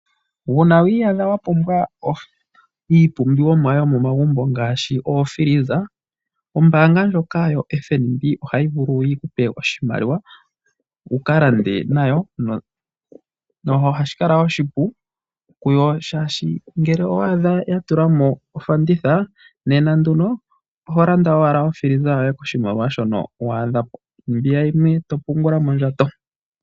Uuna wi iyadha wa pumbwa iipumbiwa mo yomomagumbo ngaashi oofiliza, ombaanga ndjoka yoFNB ohayi vulu yi ku pe oshimaliwa wu ka lande nayo. Ohashi kala oshipu kuyo uuna wa adha ya tula mo ofanditha, oho landa owala okila yoye kondando ndjoka wa adha po, mbiya yimwe to pungula mondjato.